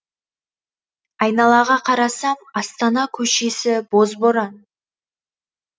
айналаға қарасам астана көшесі боз боран